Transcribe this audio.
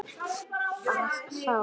Bað þá